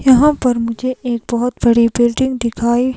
यहाँ पर मुझे एक बहुत बड़ी बिल्डिंग दिखाई--